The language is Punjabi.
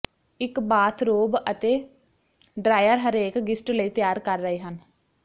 ਇੱਕ ਬਾਥਰੋਬ ਅਤੇ ਡਰਾਇਰ ਹਰੇਕ ਗਿਸਟ ਲਈ ਤਿਆਰ ਕਰ ਰਹੇ ਹਨ